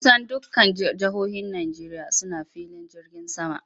Kusan dukkan jihohin Najeriya suna filin jirgin sama.